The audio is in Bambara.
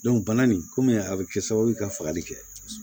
bana nin kɔmi a bɛ kɛ sababu ka fagali kɛ